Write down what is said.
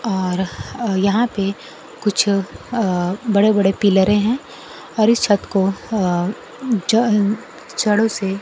और यहां पे कुछ अह बड़े बड़े पिलरे हैं और इस छत को अह जो छड़ों से--